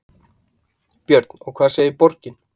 Björn: Og hvað segir borgin?